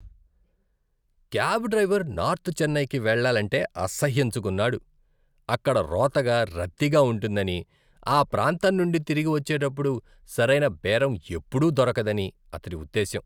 Cab driver north చెన్నైకి వెళ్ళాలంటే అసహ్యించుకున్నాడు. అక్కడ రోతగా, రద్దీగా ఉంటుందని, ఆ ప్రాంతం నుండి తిరిగి వచ్చేటప్పుడు సరైన బేరం ఎప్పుడూ దొరకదని అతడి ఉద్ధేశ్యం.